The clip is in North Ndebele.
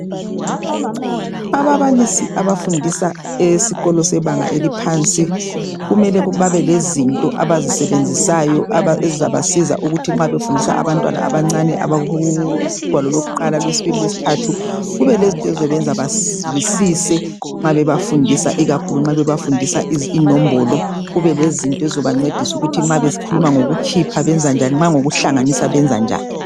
Ababalisi abafundisa esikolo sebanga eliphansi kumele babelezinto abazisebenzisayo ezizabasiza ukuthi nxa befundisa abantwana abancane abakugwalo lokuqala, lwesibili, lwesithathu kubelezinto ezizobenza bazwisise nxa bebafundisa ikakhulu nxa bebafundisa inombolo kubelezinto ezizobancedisa ukuthi nxa bekhuluma ngokukhipha kumbe ngokuhlanganisa benza njani.